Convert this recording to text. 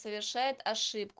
совершает ошибку